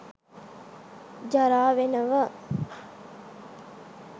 ජරා වෙනව